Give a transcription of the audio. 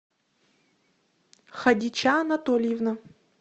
хадича анатольевна